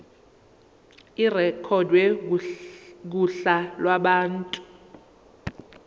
irekhodwe kuhla lwabantu